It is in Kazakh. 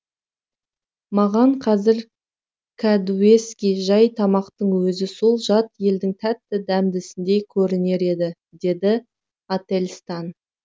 маған қазір кәдуескі жай тамақтың өзі сол жат елдің тәтті дәмдісіндей көрінер еді деді ательстан